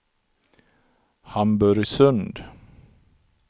Hamburgsund